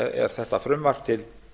er þetta frumvarp til